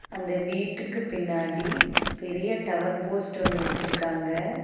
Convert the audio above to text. அந்த வீட்டுக்கு பின்னாடி பெரிய டவர் போஸ்ட் ஒன்னு வெச்சிருக்காங்க.